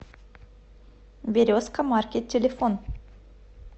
березка маркет телефон